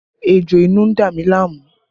Ejò inú ń dá mi láàmú